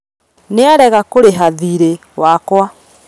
Nĩarega kũrĩha thiirĩ wakwa